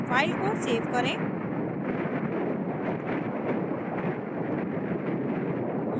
file को save करें